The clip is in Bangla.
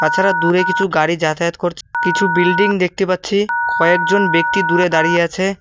তাছাড়া দূরে কিছু গাড়ি যাতায়াত করছ কিছু বিল্ডিং দেখতে পাচ্ছি কয়েকজন ব্যক্তি দূরে দাঁড়িয়ে আছে।